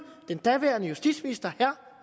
den daværende justitsminister herre